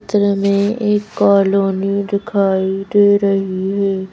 धर हमे एक कॉलोनी दिखाई दे रही है।